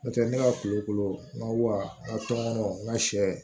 N'o tɛ ne ka kulukolo n ka sɛ